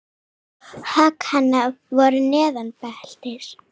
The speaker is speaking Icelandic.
Högg hennar voru neðan beltis.